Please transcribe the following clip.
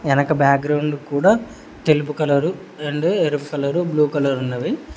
వెనక బ్యాగ్రౌండ్ కూడా తెలుపు కలరు రెండు ఎరుపు కలర్ బ్లూ కలర్ ఉన్నవి.